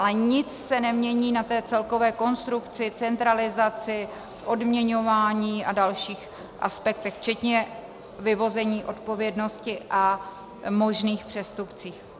Ale nic se nemění na té celkové konstrukci, centralizaci, odměňování a dalších aspektech včetně vyvození odpovědnosti a možných přestupcích.